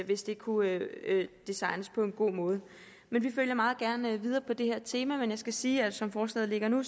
hvis det kunne designes på en god måde vi følger meget gerne på det her tema men jeg skal sige at som forslaget ligger nu